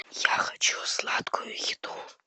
я хочу сладкую еду